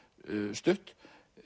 stutt